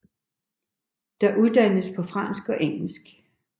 Der uddannes på fransk og engelsk